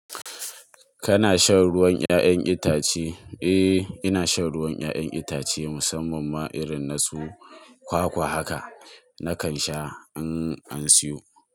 Kana shan ruwan 'ya'yan itace? Eh, ina shan ruwan 'ya'yan itace musamman ma irin na su kwakwa haka. Nakan sha in an siyo.